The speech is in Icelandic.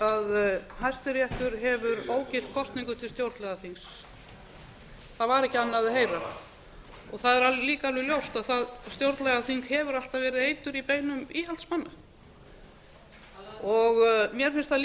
hæstiréttur hefur ógilt kosningu til stjórnlagaþings það var ekki annað að heyra það er líka alveg ljóst að stjórnlagaþing hefur alltaf verið eitur í beinum íhaldsmanna mér finnst það